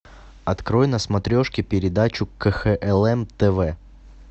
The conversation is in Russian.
открой на смотрешке передачу кхлм тв